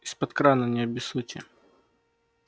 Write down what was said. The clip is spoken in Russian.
из-под крана не обессудьте